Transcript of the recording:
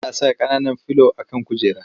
Ana saka ƙananan filo a kan kujera.